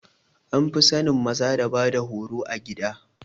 An fi sanin maza da bada horo a gida